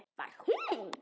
Var hún?!